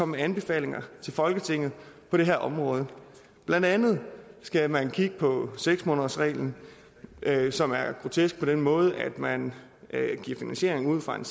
med anbefalinger til folketinget på det her område blandt andet skal man kigge på seks månedersreglen som er grotesk på den måde at man giver finansiering ud fra en